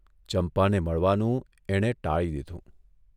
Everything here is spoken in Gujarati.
ચંપાને મળવાનું એણે ટાળી દીધું.